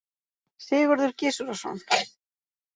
Sigurður Gizurarson.